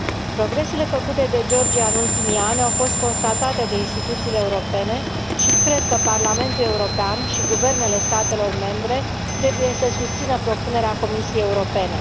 Progresele făcute de Georgia în ultimii ani au fost constatate de instituțiile europene și cred că Parlamentul European și guvernele statelor membre trebuie să susțină propunerea Comisiei Europene.